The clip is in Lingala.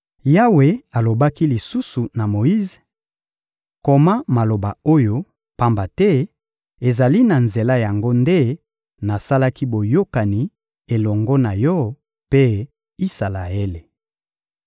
Yawe alobaki lisusu na Moyize: — Koma maloba oyo, pamba te ezali na nzela na yango nde nasalaki boyokani elongo na yo mpe Isalaele.